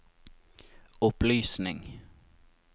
opplysning